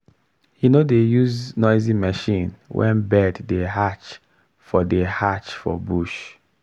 he no dey use noisy machine when bird dey hatch for dey hatch for bush.